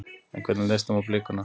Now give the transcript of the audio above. En hvernig leist þeim á blikuna?